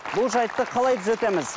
бұл жайтты қалай түзетеміз